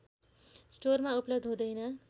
स्टोरमा उपलब्ध हुँदैन